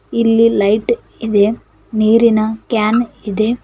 ಇಲ್ಲಿ ಲೈಟ್ ಇದೆ ನೀರಿನ ಕ್ಯಾನ್ ಇದೆ